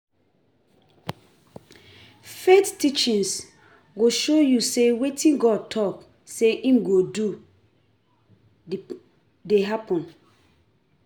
Faith teachings go show yu say wetin God talk say im go do dey happened.